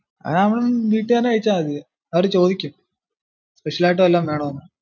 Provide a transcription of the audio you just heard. അതാവുമ്പം വീട്ടിൽ നിന്ന് തന്നെ കഴിച്ചാൽ മതി അവര് ചോദിക്കും special ആയിട്ടു വല്ലോം വേണോന്ന്‌?